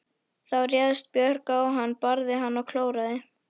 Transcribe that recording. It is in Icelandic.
Þá réðst Björg á hann, barði hann og klóraði.